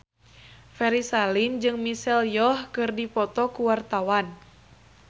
Ferry Salim jeung Michelle Yeoh keur dipoto ku wartawan